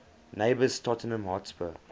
neighbours tottenham hotspur